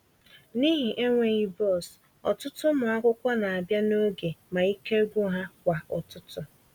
N'ihi enweghị bọs, ọtụtụ ụmụ akwụkwọ na-abịa n'oge ma ike gwụ ha kwa ụtụtụ.